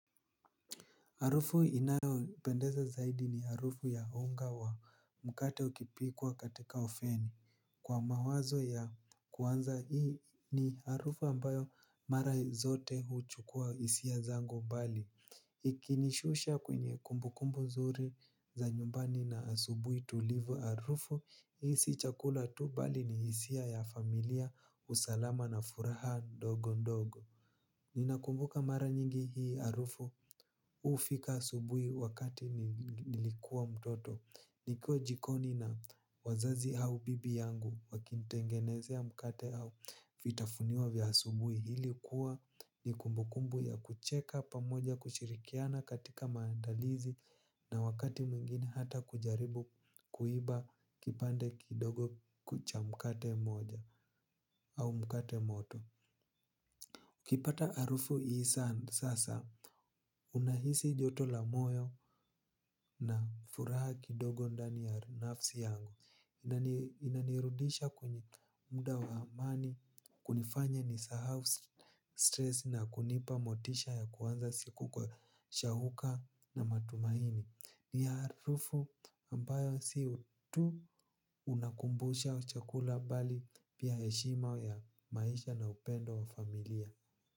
Harufu inayo nipendeza zaidi ni harufu ya unga wa mkate ukipikwa katika oveni. Kwa mawazo ya kuanza hii ni harufu ambayo mara zote huchukua hisia zangu mbali. Ikinishusha kwenye kumbukumbu nzuri za nyumbani na asubuhi tulivu harufu, hii si chakula tu mbali ni hisia familia usalama na furaha ndogondogo. Ninakumbuka mara nyingi hii harufu hufika asubuhi wakati nilikuwa mtoto. Niko jikoni na wazazi au bibi yangu wakinitengenezea mkate au vitafunio vya asubuhi. Hili kuwa ni kumbukumbu ya kucheka pamoja kushirikiana katika maandalizi na wakati mwingine hata kujaribu kuiba kipande kidogo cha mkate mmoja au mkate moto ukipata harufu hii sasa, unahisi joto la moyo na furaha kidogo ndani ya nafsi yangu. Inanirudisha kwenye muda wa zamani, kunifanya nisahau stress na kunipa motisha ya kuanza siku kwa shauku na matumaini. Ni harufu ambayo si tu unakumbusha chakula bali pia heshima ya maisha na upendo wa familia.